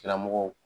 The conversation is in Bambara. Karamɔgɔw